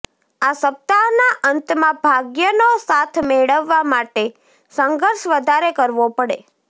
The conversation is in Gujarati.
આ સપ્તાહના અંતમાં ભાગ્યનો સાથ મેળવવા માટે સંઘર્ષ વધારે કરવો પડે